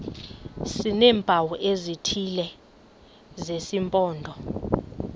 sineempawu ezithile zesimpondo